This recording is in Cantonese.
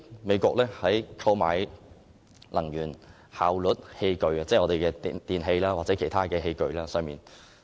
美國為購買能源效率器具提供稅務優惠作為誘因。